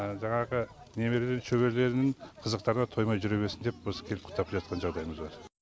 жаңағы немерелерінің шөберелерінің қызықтарына тоймай жүре берсін деп осы келіп құттықтап жатқан жағдайымыз бар